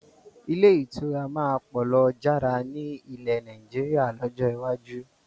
Ilé ìtura máa pọ̀ lọ jára ni ilẹ̀ Nàìjíríà lọ́jọ́ iwájú